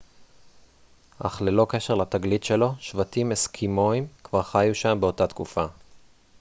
אך ללא קשר לתגלית שלו שבטים אסקימואים כבר חיו שם באותה תקופה